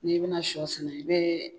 N'i bɛna shɔ sen i bɛ.